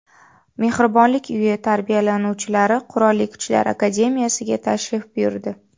Mehribonlik uyi tarbiyalanuvchilari Qurolli Kuchlar Akademiyasiga tashrif buyurdi.